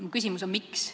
Minu küsimus on, miks.